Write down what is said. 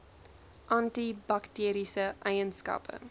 anti bakteriese eienskappe